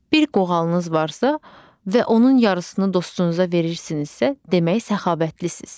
Bir qoğalınız varsa və onun yarısını dostunuza verirsinizsə, demək səxavətlisiz.